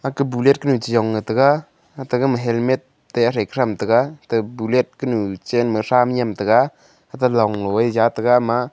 bullet kunu chejong ley tega ate gama helmet te ate toh tham tega ate bullet kunu chen ma tham nyem tega ate long ngo a jaw tega ama a.